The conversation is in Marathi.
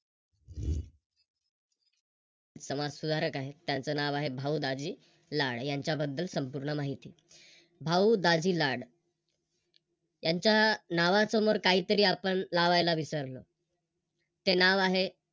समाजसुधारक आहे त्यांच नाव आहे भाऊ दाजी लाड यांच्याबद्दल संपूर्ण माहिती भाऊ दाजी लाड यांच्या नावासमोर काहीतरी आपण लावायला विसरलो ते नाव आहे